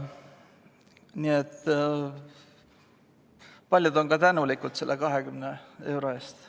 Paljud pensionäris on ka tänulikud selle 20 euro eest.